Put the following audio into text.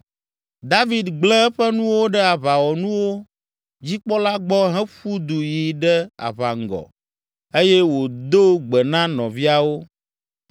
David gblẽ eƒe nuwo ɖe aʋawɔnuwo dzikpɔla gbɔ heƒu du yi ɖe aʋaŋgɔ eye wòdo gbe na nɔviawo.